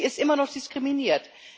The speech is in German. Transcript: Und sie ist immer noch diskriminiert.